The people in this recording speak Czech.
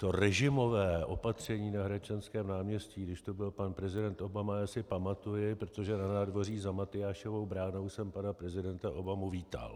To režimové opatření na Hradčanském náměstí, když tu byl pan prezident Obama, já si pamatuji, protože na nádvoří za Matyášovou bránou jsem pana prezidenta Obamu vítal.